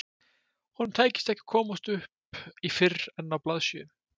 Honum tækist ekki að komast upp í fyrr en á blaðsíðu